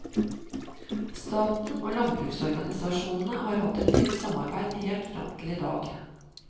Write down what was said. Staten og landbruksorganisasjonene har hatt et tett samarbeid helt fram til i dag.